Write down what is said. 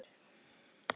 Þar eru margar búðir.